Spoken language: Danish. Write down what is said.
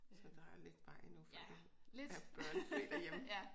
Så der er lidt vej endnu før du er børnefri derhjemme